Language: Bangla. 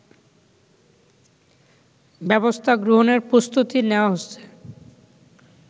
ব্যবস্থা গ্রহণের প্রস্তুতি নেয়া হচ্ছে